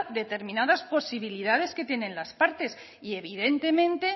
determinadas posibilidades que tienen las partes y evidentemente